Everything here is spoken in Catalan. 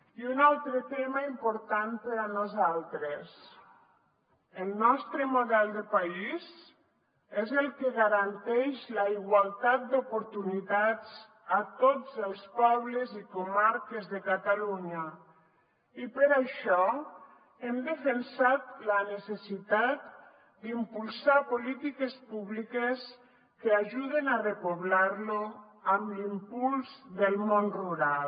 i un altre tema important per a nosaltres el nostre model de país és el que garanteix la igualtat d’oportunitats a tots els pobles i comarques de catalunya i per això hem defensat la necessitat d’impulsar polítiques públiques que ajuden a repoblar lo amb l’impuls del món rural